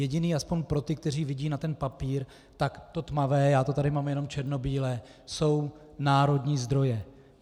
Jediné, aspoň pro ty, kteří vidí na ten papír , tak to tmavé, já to tady mám jenom černobíle, jsou národní zdroje.